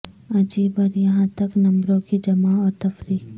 عجیب اور یہاں تک نمبروں کی جمع اور تفریق